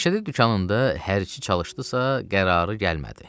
Məşədi dükanında hər nə çalışdısa qərarı gəlmədi.